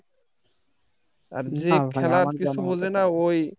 যে খেলার কিছু বোঝেনা ওই